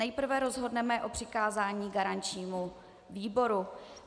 Nejprve rozhodneme o přikázání garančnímu výboru.